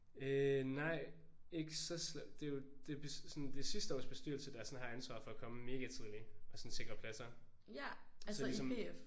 Øh nej ikke så slemt det er jo det er sådan sidste års bestyrelse der sådan har ansvaret for at komme mega tidligt og sådan sikre pladser. Så ligesom